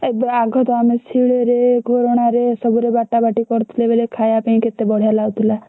ଏବେ ଆଘତ ଆମେ ଶିଳରେ ଘୋରଣାରେ ଏସବୁରେ ବାଟାବାଟି କରୁଥିଲେ ବେଳେ ଖାଇବାପାଇଁ କେତେ ବଢିଆ ଲାଗୁଥିଲା।